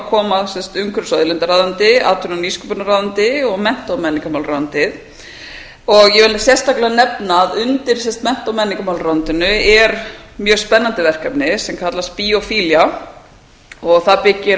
koma umhverfis og auðlindaráðuneytið atvinnu og nýsköpunarráðuneytið og mennta og menningarmálaráðuneytið ég vil sérstaklega nefna að undir mennta og menningarmálaráðuneytinu er mjög spennandi verkefni sem kallast biophilia það byggir